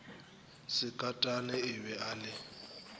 sekatane e be e le